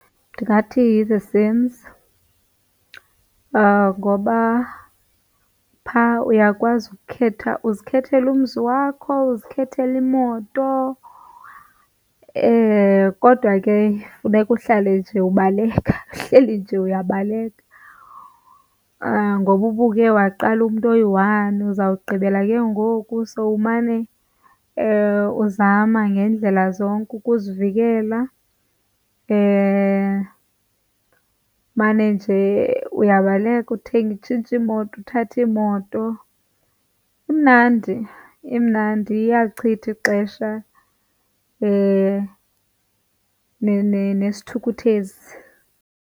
Ndingathi yi-The Sims ngoba phaa uyakwazi ukukhetha, uzikhethela umzi wakho, uzikhethele imoto kodwa ke funeka uhlale nje ubaleka, uhleli nje uyabaleka. Ngoba uba uke waqala umntu oyi-one uzawugqibela ke ngoku sowumane uzama ngeendlela zonke ukuzivikela. Umane nje uyabaleka uthenge, utshintshe iimoto, uthathe iimoto. Imnandi, imnandi iyalichitha ixesha nesithukuthezi.